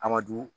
Aramadu